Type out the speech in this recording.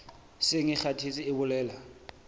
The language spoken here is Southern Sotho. seng e kgathetse e bolela